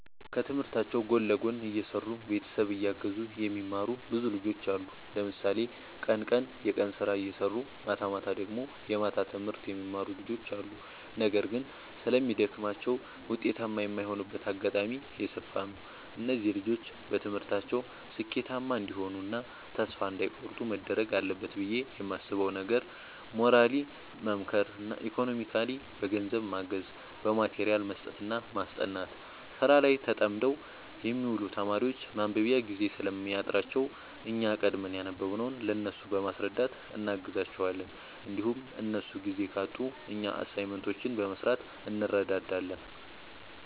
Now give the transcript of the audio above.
ከትምህርታቸው ጎን ለጎን እየሰሩ ቤተሰብ እያገዙ የሚማሩ ብዙ ልጆች አሉ። ለምሳሌ ቀን ቀን የቀን ስራ እየሰሩ ማታማታ ደግሞ የማታ ትምህርት የሚማሩ ልጆች አሉ። ነገር ግን ስለሚደግማቸው ውጤታማ የማይሆኑበት አጋጣሚ የሰፋ ነው። እነዚህ ልጆች በትምህርታቸው ስኬታማ እንዲሆኑ እና ተስፋ እንዳይ ቆርጡ መደረግ አለበት ብዬ የማስበው ነገር ሞራሊ መምከር ኢኮኖሚካሊ በገንዘብ ማገዝ በማቴሪያል መስጠትና ማስጠናት። ስራ ላይ ተጠምደው የሚውሉ ተማሪዎች ማንበቢያ ጊዜ ስለሚያጥራቸው እኛ ቀድመን ያነበብንውን ለእነሱ በማስረዳት እናግዛቸዋለን እንዲሁም እነሱ ጊዜ ካጡ እኛ አሳይመንቶችን በመስራት እንረዳዳለን